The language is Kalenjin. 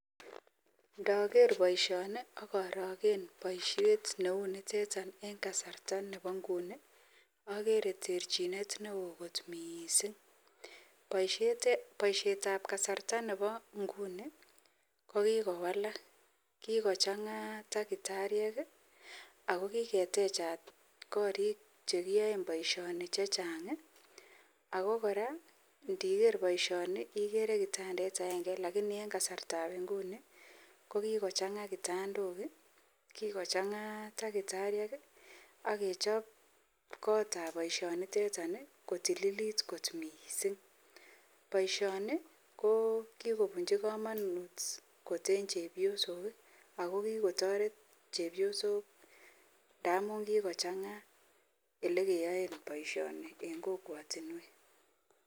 Ndaker baishoni akaragen baishet neuniteton en kasariagere terchinet neon kot mising baishet ab kasarta Nebo ngunin kokikowalak kikochanga takitariek akokiketechat korik chekiyaen baishoni chechang akokoraa niker baishoni igere kibandet agenge lakini en kasarta ab inguni kokikochanga kitandok ,kikochanga takitariek akechope kotab baishonitetan kotililit kot mising baishoni ko kikobunchi kamanut koten chepyosok akokikotaret chepyosok ntamun kikochanga yelekeyon baishoni en kokwatinwek